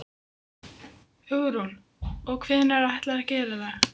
Hugrún: Og hvenær ætlarðu að gera það?